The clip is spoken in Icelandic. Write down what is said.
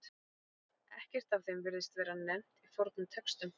Ekkert af þeim virðist vera nefnt í fornum textum.